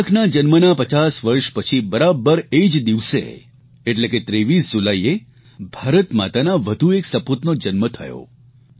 તિલકના જન્મના 50 વર્ષ પછી બરાબર એ જ દિવસે એટલે કે 23 જુલાઇએ ભારતમાતાના વધુ એક સપૂતનો જન્મ થયો